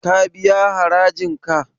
Ka biya harajin ka?